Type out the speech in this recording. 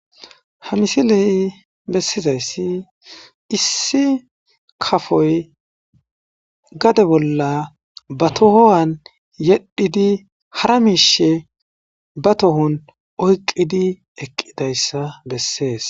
Ha misiley bessizayssi issi kafoy gade bolla ba tohowan yedhidi hara miishe ba tohon oyqidi eqqidayssa bessees.